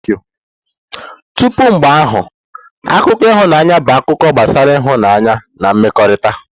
Tupu mgbe ahụ, akụkọ ịhụnanya bụ akụkọ gbasara ịhụnanya na mmekọrịta.